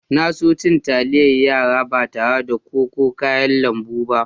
Na so cin talliyar yara ba tarre da ƙwoi ko kayan lambu ba.